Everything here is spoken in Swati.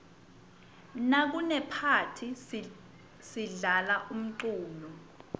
nakunephathi sidlala umculo